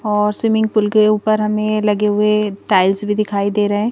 और swimming pool के ऊपर हमें लगे हुए टाइल्स भी दिखाई दे रहे--